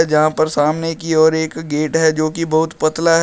जहां पर सामने की ओर एक गेट है जो कि बहुत पतला है।